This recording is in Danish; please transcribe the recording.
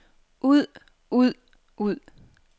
ud ud ud